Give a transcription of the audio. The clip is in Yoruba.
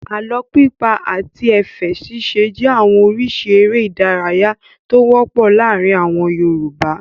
Àlọ́ pípa àti ẹ̀fẹ̀ ṣíṣe jẹ́ àwọn oríṣi eré-idárayá tó wọ́pọ̀ láàárin àwọn Yorùbá.